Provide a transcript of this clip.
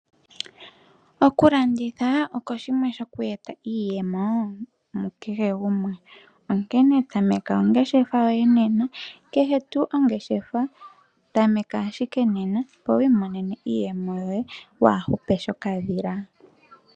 Oku landitha oko shimwe shoku eta iiyemo mukehe gumwe, onkene tameka oongeshefa yoye nena, kehe tuu ongeshefa ,tameka ashike nena, opo wiimonene iiyemo yoye, waa hupe sho kadhila.